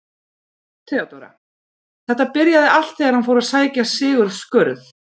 THEODÓRA: Þetta byrjaði allt þegar hann fór að sækja Sigurð skurð.